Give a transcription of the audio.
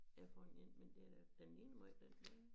Er for en én men den er den ligner måj den dér